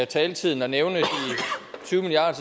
taletiden at nævne de tyve milliard